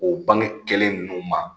O bange kelen ninnu ma